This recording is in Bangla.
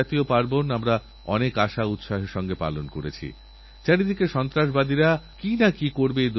যদি আপনাদের নজরে কোনো সমস্যাআসে তার সমাধানের জন্য প্রযুক্তি খুঁজে বার করুন গবেষণা করুন আবিষ্কার করুনআমাদের জানান